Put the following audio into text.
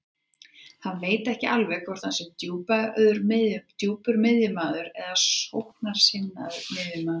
Hann veit ekki alveg hvort hann sé djúpur miðjumaður eða sóknarsinnaður miðjumaður.